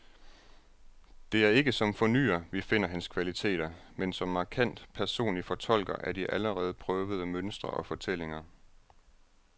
Det er ikke som fornyer, vi finder hans kvaliteter, men som markant personlig fortolker af de allerede prøvede mønstre og fortællinger.